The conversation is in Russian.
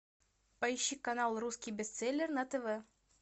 поищи канал русский бестселлер на тв